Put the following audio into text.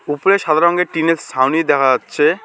উপরে সাদা রঙের টিনের সাউনি দেখা যাচ্ছে।